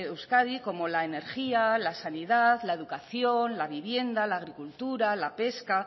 euskadi como la energía la sanidad la educación la vivienda la agricultura la pesca